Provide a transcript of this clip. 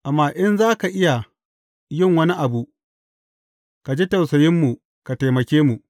Amma in za ka iya yin wani abu, ka ji tausayinmu ka taimake mu.